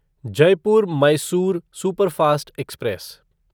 Jaipur Mysore superfast express